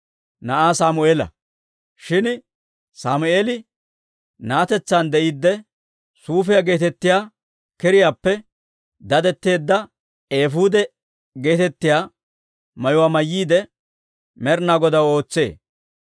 Shin Sammeeli na'atetsaan de'iidde, suufiyaa geetettiyaa kiriyaappe dadetteedda eefuude geetettiyaa mayuwaa mayyiide, Med'inaa Godaw ootsee.